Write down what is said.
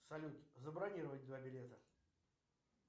салют забронировать два билета